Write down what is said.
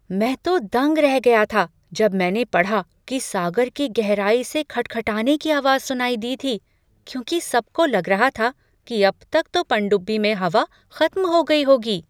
मैं तो दंग रह गया था जब मैंने पढ़ा कि सागर की गहराई से खटखटाने की आवाज़ सुनाई दी थी, क्योंकि सबको लग रहा था कि अब तक को पनडुब्बी में हवा खत्म हो गई होगी।